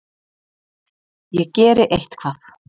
Ég geri eitthvað.